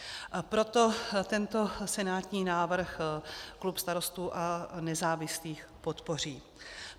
Proto tento senátní návrh klub Starostů a nezávislých podpoří.